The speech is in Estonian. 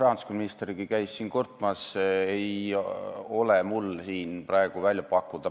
Mis mul Helme jutust veel kõrva kriibib, on see, kuidas ta süüdistab panku.